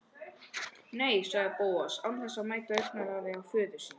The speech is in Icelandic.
Nei- sagði Bóas án þess að mæta augnaráði föður síns.